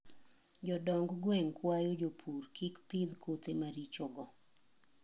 Jodong' gweng kwayo jopur kik pidh kothe maricho go.